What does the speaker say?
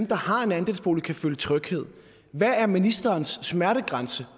der har en andelsbolig kan føle tryghed hvad er ministerens smertegrænse